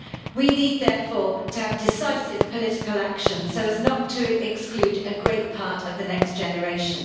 We need, therefore, to have decisive political action so as not to exclude a great part of the next generation.